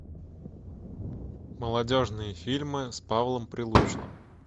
молодежные фильмы с павлом прилучным